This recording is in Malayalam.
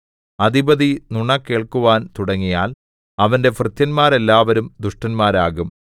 അധിപതി നുണ കേൾക്കുവാൻ തുടങ്ങിയാൽ അവന്റെ ഭൃത്യന്മാരെല്ലാവരും ദുഷ്ടന്മാരാകും